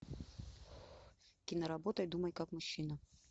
киноработа думай как мужчина